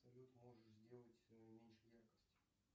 салют можешь сделать меньше яркость